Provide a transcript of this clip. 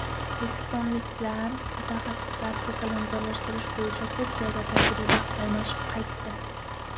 O‘zbekistonlik mutaxassislar ko‘kalamzorlashtirish bo‘yicha Turkiyada tajriba almashib qaytdi.